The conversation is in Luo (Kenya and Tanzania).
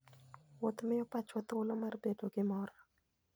Wuoth miyo pachwa thuolo mar bedo gi mor.